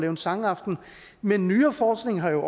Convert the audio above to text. en sangaften men nyere forskning har jo